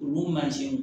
Olu mansinw